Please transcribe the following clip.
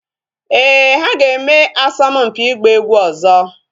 Ee, ha ga-eme asọmpi ịgba egwu ọzọ